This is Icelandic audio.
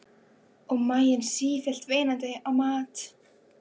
Og maginn sífellt veinandi á mat.